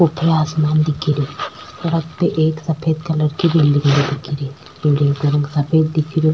ऊपर आसमान दिखेरियो सड़क पे एक सफ़ेद कलर की बिल्डिंग दिखेरी बिल्डिंग का रंग सफ़ेद दिखेरियो।